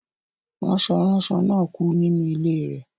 Ranso-ranso náà kú nínú ilé rẹ̀